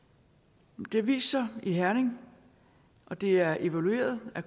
det har vist sig i herning og det er evalueret af